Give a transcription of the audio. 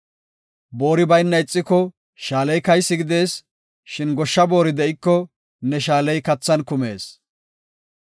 Boori bayna ixiko shaaley kaysi gidees; shin goshsha boori de7iko, ne shaaley kathan kumees.